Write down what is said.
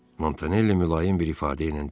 Montanelli mülayim bir ifadə ilə dedi: